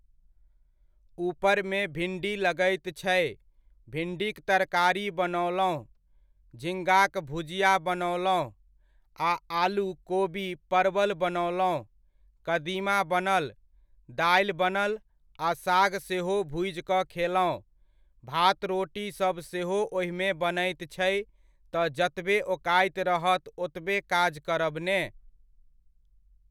ऊपरमे भिण्डी लगैत छै, भिण्डीक तरकारी बनओलहुॅं झिङ्गाक भुजिया बनओलहुॅं आ आलू, कोबी, परवल बनओलहुॅं ,कदीमा बनल, दालि बनल आ साग सेहो भुजि कऽ खेलहुॅं, भात रोटी सब सेहो ओहिमे बनैत छै तऽ जतबे ओकाति रहत ओतबे काज करब ने।